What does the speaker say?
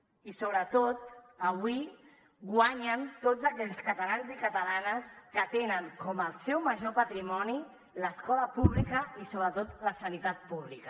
i sobretot avui guanyen tots aquells catalans i catalanes que tenen com el seu major patrimoni l’escola pública i sobretot la sanitat pública